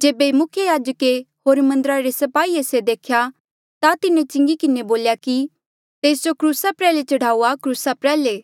जेबे मुख्य याजके होर मन्दरा रे स्पाहिये से देख्या ता तिन्हें चिंगी किन्हें बोल्या कि तेस जो क्रूसा प्रयाल्हे चढ़ाऊआ क्रूसा प्रयाल्हे